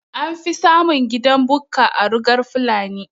Anfi samun gidan Bukka a rugan fulani